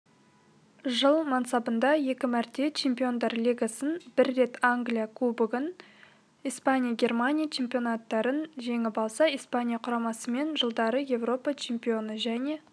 жыл мансабында екі мәрте чемпиондар лигасын бір рет англия кубогын испания германия чемпионаттарын жеңіп алса испания құрамасымен жылдары еуропа чемпионы және